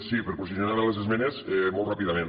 sí per posicionar me sobre les esmenes molt ràpidament